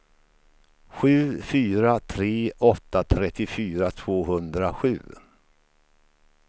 sju fyra tre åtta trettiofyra tvåhundrasju